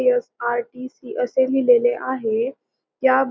SRTC असे लिहिलेले आहे त्या --